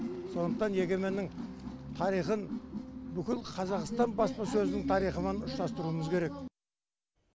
сондықтан егеменнің тарихын бүкіл қазақстан баспасөзінің тарихымен ұштастыруымыз керек